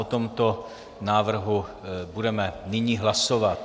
O tomto návrhu budeme nyní hlasovat.